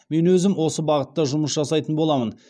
мен өзім осы бағытта жұмыс жасайтын боламын